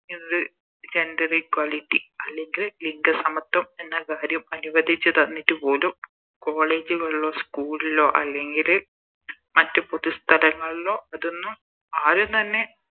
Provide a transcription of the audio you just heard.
ഇത് Gender equality അല്ലെങ്കി ലിംഗ സമത്വം എന്ന കാര്യം അനുവദിച്ച് തന്നിറ്റുപോലും College കളിലോ School ലോ അല്ലെങ്കില് മറ്റ് പൊതു സ്ഥലങ്ങളിലോ അതൊന്നും ആരും തന്നെ